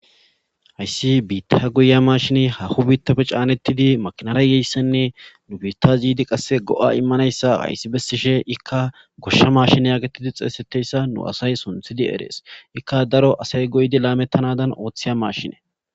hayssi biittaha goyiya mashine haho biittafe caanettidi makinarayeyssenne nu biitta ziidi qasse go7a immanayssa hayssi bessishe ikka goshsha mashin yaagettidi xeesetteyssa nu asay sunthidi erees ikka daro asay goydi laamettanadan ooththeya mashine